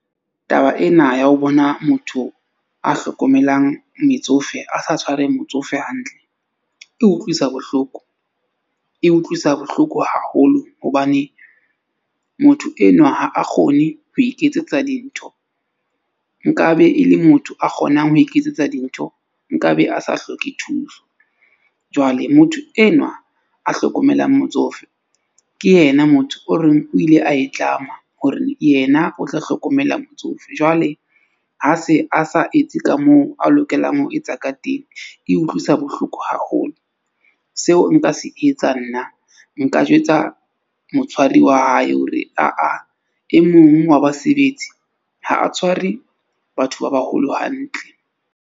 Taba ena ya ho bona motho a hlokomelang metsofe a sa tshwareng motsofe hantle, e utlwisa bohloko, e utlwisa bohloko haholo. Hobane motho enwa ha a kgone ho iketsetsa dintho nkabe e le motho a kgonang ho iketsetsa dintho, nkabe a sa hloke thuso. Jwale motho enwa a hlokomelang motsofe ke yena motho o reng o ile a e tlameha hore yena o tla hlokomela motsofe. Jwale ha se a sa etse ka moo a lokelang ho etsa ka teng. E utlwisa bohloko haholo. Seo nka se etsang nna nka jwetsa motshwari wa hae, hore aa e mong wa basebetsi ha a tshware batho ba baholo hantle.